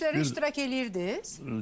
Çəkilişlərdə iştirak eləyirdiz?